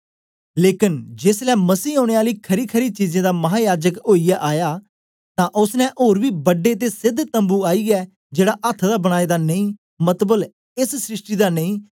लेकन जेसलै मसीह औने आली खरीखरी चीजें दा महायाजक ओईयै आया तां ओसने ओर बी बड्डे ते सेध तम्बू थमां ओईयै जेड़ा अथ्थ दा बनाए दा नेई मतलब एस सृष्टि दा नेई